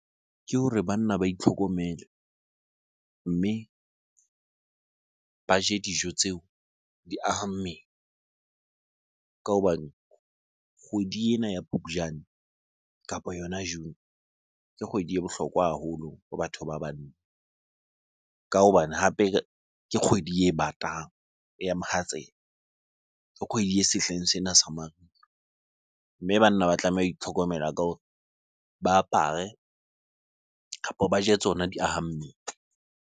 Ke hore banna ba itlhokomele mme ba je dijo tseo, di aha mmele. Ka hobane kgwedi ena ya Phupjane kapo yona June, ke kgwedi e bohlokwa haholo ho batho ba banna. Ka hobane hape ke kgwedi e batang, ya mohatsela. Ke kgwedi e sehleng sena sa mariha. Mme banna ba tlameha ho itlhokomela ka hore ba apare kapo ba je tsona di aha mmele.